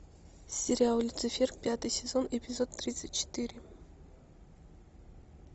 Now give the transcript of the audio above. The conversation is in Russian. сериал люцифер пятый сезон эпизод тридцать четыре